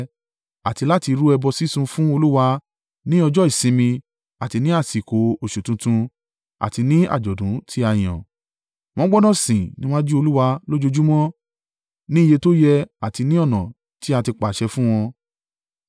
Àti láti rú ẹbọ sísun fún Olúwa ní ọjọ́ ìsinmi àti ní àsìkò oṣù tuntun àti ní àjọ̀dún tí a yàn. Wọ́n gbọdọ̀ sìn níwájú Olúwa lójoojúmọ́ ní iye tó yẹ àti ní ọ̀nà tí a ti pàṣẹ fún wọn.